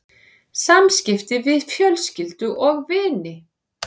SAMSKIPTI VIÐ FJÖLSKYLDU OG VINI